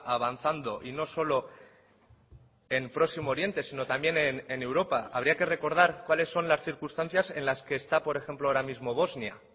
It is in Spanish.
avanzando y no solo en próximo oriente sino también en europa habría que recordar cuáles son las circunstancias en las que está por ejemplo ahora mismo bosnia